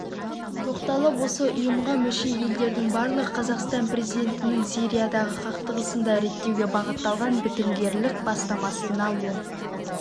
тоқталып осы ұйымға мүше елдердің барлығы қазақстан президентінің сириядағы қақтығысты реттеуге бағытталған бітімгерлік бастамасына оң